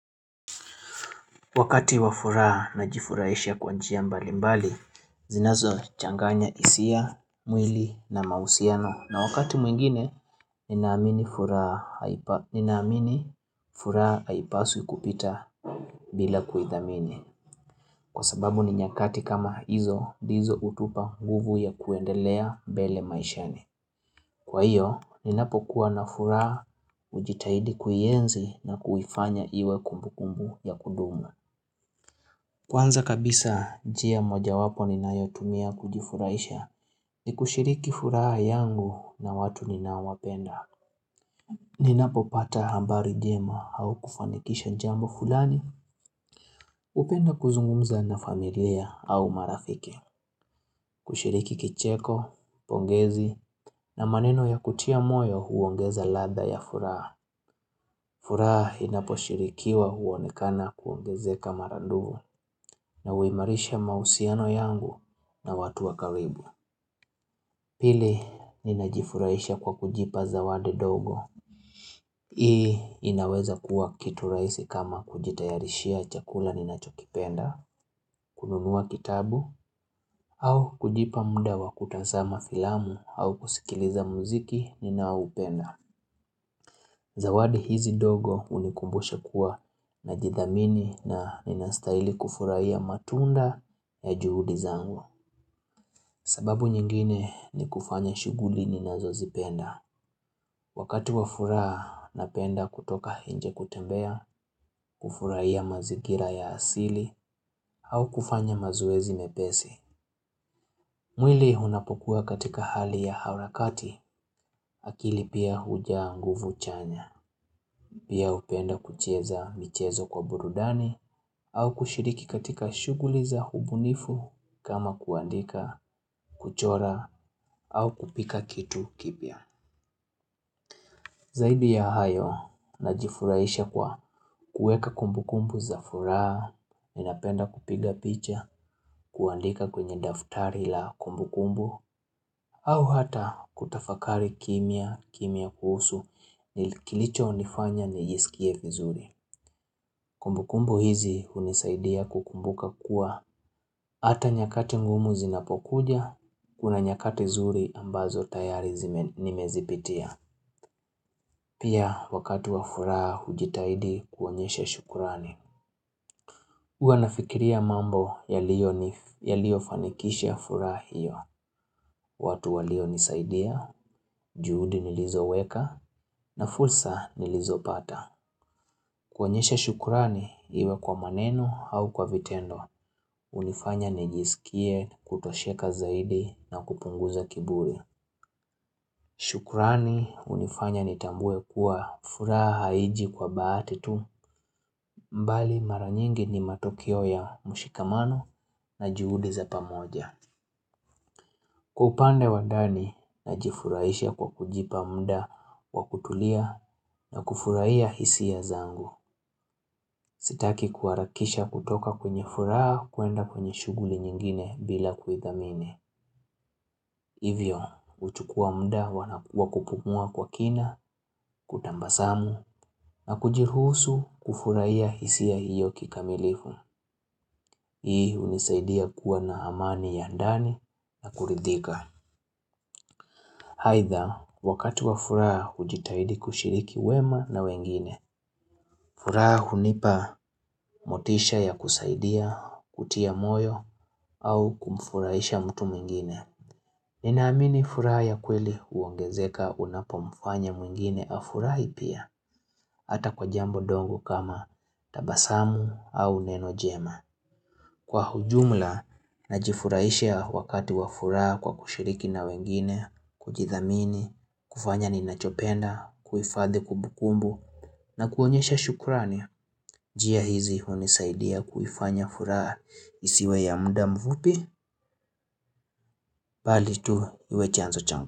Wakati wa furaha najifurahisha kwa njia mbali mbali, zinazochanganya hisia, mwili na mausiano. Na wakati mwingine, ninaamini furaha haipaswi kupita bila kuhithamini. Kwa sababu ni nyakati kama hizo, ndizo utupa nguvu ya kuendelea mbele maishani. Kwa hiyo, ninapokuwa na furaha ujitahidi kuienzi na kuhifanya iwe kumbu kumbu ya kudumu. Kwanza kabisa, njia mojawapo ninayotumia kujifurahisha ni kushiriki furaha yangu na watu ninawapenda. Ninapopata habari jema au kufanikisha jambo fulani, hupenda kuzungumza na familia au marafiki. Kushiriki kicheko, pongezi na maneno ya kutia moyo huongeza ladha ya furaha. Furaha inaposhirikiwa uonekana kuongezeka mara dufu na uimarisha mahusiano yangu na watu wa karibu. Pili, ninajifurahisha kwa kujipa zawadi dogo. Ii inaweza kuwa kitu rahisi kama kujitayarishia chakula ninachokipenda, kununua kitabu au kujipa muda wa kutazama filamu au kusikiliza muziki ninaoupenda. Zawadi hizi ndogo unikumbusha kuwa najidhamini na ninastaili kufuraiya matunda ya juhudi zangu. Sababu nyingine ni kufanya shughuli ninazozipenda. Wakati wa furaha, napenda kutoka inje kutembea, kufurahia mazigira ya asili, au kufanya mazoezi mepesi. Mwili unapokuwa katika hali ya harakati, akili pia hujaa nguvu chanya. Pia upenda kucheza michezo kwa burudani au kushiriki katika shughuli za ubunifu kama kuandika, kuchora au kupika kitu kipya. Zaidi ya hayo najifurahisha kwa kuweka kumbu kumbu za furaha, ninapenda kupiga picha, kuandika kwenye daftari la kumbu kumbu au hata kutafakari kimya, kimya kuhusu kilicho nifanya ni jisikie vizuri. Nisaidia kukumbuka kuwa, ata nyakati ngumu zinapokuja, kuna nyakati zuri ambazo tayari nimezipitia. Pia wakati wa furaha hujitaidi kuonyeshe shukurani. Huwa nafikiria mambo yaliyo fanikisha furaha hiyo. Watu walio nisaidia, juhudi nilizoweka, na fursa nilizopata. Kuonyesha shukrani iwe kwa maneno au kwa vitendo. Unifanya nijisikie kutosheka zaidi na kupunguza kiburi shukrani unifanya nitambue kuwa furaha haiji kwa bahati tu mbali mara nyingi ni matokeo ya mushikamano na juhudi za pamoja Kwa upande wa ndani najifurahisha kwa kujipa mda kwa kutulia na kufurahia hisia zangu Sitaki kuharakisha kutoka kwenye furaha kuenda kwenye shughuli nyingine bila kuidhamini Hivyo, huchukua mda wa kupumua kwa kina, kutambasamu, na kujiruhusu kufurahia hisia hiyo kikamilifu. Hii unisaidia kuwa na amani ya ndani na kuridhika. Haidha, wakati wa furaha ujitahidi kushiriki wema na wengine, furaha hunipa motisha ya kusaidia, kutia moyo, au kumfurahisha mtu mwingine. Ninaamini furaha ya kweli uongezeka unapomfanya mwingine afurahi pia, ata kwa jambo ndogo kama tabasamu au neno jema. Kwa ujumla, najifurahisha wakati wa furaha kwa kushiriki na wengine, kujithamini, kufanya ninachopenda, kuhifadhi kumbukumbu, na kuonyesha shukrani. Njia hizi unisaidia kuifanya furaha isiwe ya mda mfupi, bali tu iwe chanzo changu.